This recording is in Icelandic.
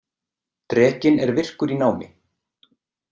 Drekinn er virkur í námi.